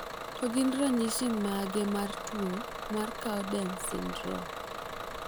To gin ranyisi mage mar tuo mar Cowden syndrome?